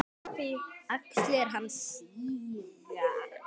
Axlir hans síga.